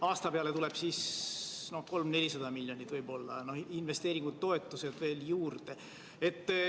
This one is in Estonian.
Aasta peale tuleb siis võib-olla 300–400 miljonit, investeeringutoetused veel juurde.